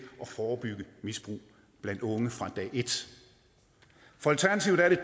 at forebygge misbrug blandt unge fra dag et for alternativet er det